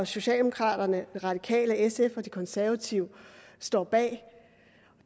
socialdemokraterne de radikale sf og de konservative står bag